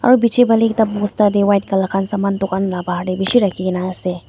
aru piche phale ekta bosta teh white colour khan saman dukan lah bahar teh bishi rakhi ke na ase.